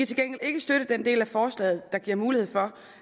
til gengæld ikke støtte den del af forslaget der giver mulighed for